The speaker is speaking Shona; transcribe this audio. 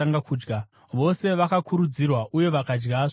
Vose vakakurudzirwa uye vakadya zvokudya.